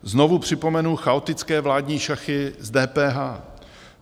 Znovu připomenu chaotické vládní šachy s DPH.